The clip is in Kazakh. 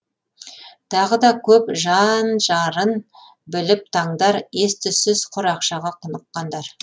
тағы да көп жан жарын біліп таңдар ес түссіз құр ақшаға құныққандар